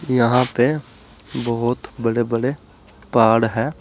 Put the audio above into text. यहां पे बहुत बड़े बड़े पहाड़ हैं।